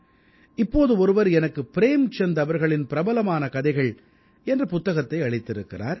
இப்போது ஒருவர் எனக்கு ப்ரேம்சந்த் அவர்களின் பிரபலமான கதைகள் என்ற புத்தகத்தை அளித்திருக்கிறார்